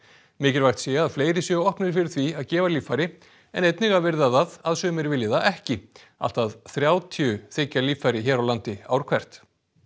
mikilvægt sé að fleiri séu opnir fyrir því að gefa líffæri en einnig að virða það að sumir vilji það ekki allt að þrjátíu þiggja líffæri hér á landi ár hvert